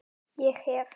Ég hef.